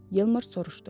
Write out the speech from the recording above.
Yeldar soruşdu.